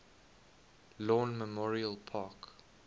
lawn memorial park